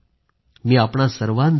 मी आपणा सर्वांचा आहे